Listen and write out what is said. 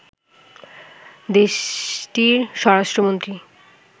দেশটির স্বরাষ্ট্রমন্ত্রী